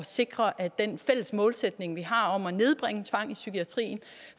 sikre at den fælles målsætning vi har om at nedbringe tvang i psykiatrien